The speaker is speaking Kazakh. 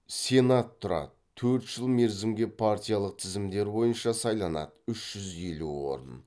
сенат тұрады төрт жыл мерзімге партиялық тізімдер бойынша сайланады үш жүз елу орын